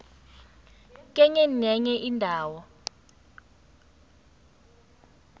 kenye nenye indawo